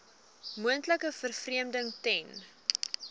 moontlike vervreemding ten